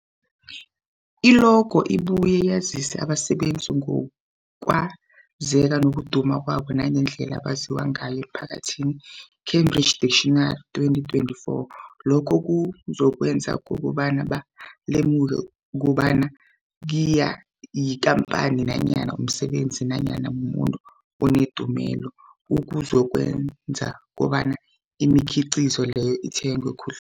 I-logo ibuye yazise abasebenzisi ngokwazeka nokuduma kwabo nangendlela abaziwa ngayo emphakathini, Cambridge Dictionary, 2024. Lokho kuzokwenza kobana balemuke kobana yikhamphani nanyana umsebenzi nanyana umuntu onendumela, okuzokwenza kobana imikhiqhizo leyo ithengwe khudl